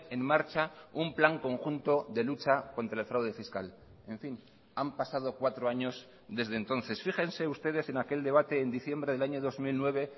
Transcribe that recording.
en marcha un plan conjunto de lucha contra el fraude fiscal en fin han pasado cuatro años desde entonces fíjense ustedes en aquel debate en diciembre del año dos mil nueve